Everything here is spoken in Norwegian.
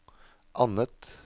annet